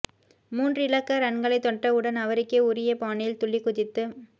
மூன்று இலக்க ரன்களை தொடட்டவுடன் அவருக்கே உரிய பாணியில் துள்ளிக்குதித்து